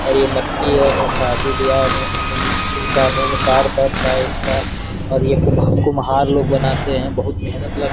और ये मटकी है में शादी-बियाह में शुभ कार्य में कार्य पड़ता है इसका और ये कुम्हार लोग बनाते हैं बहोत मेहनत ल --